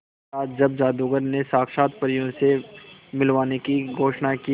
महाराज जब जादूगर ने साक्षात परियों से मिलवाने की घोषणा की